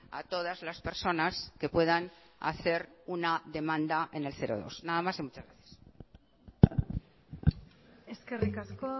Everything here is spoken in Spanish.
a todas las personas que puedan hacer una demanda en el cero dos nada más y muchas gracias eskerrik asko